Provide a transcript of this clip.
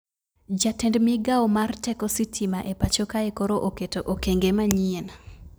Jatend migao mar teko sitima e pacho kae koro oketo okenge manyien